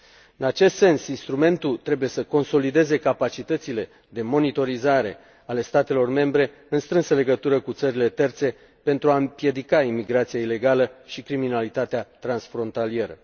În acest sens, instrumentul trebuie să consolideze capacitățile de monitorizare ale statelor membre, în strânsă legătură cu țările terțe, pentru a împiedica imigrația ilegală și criminalitatea transfrontalieră.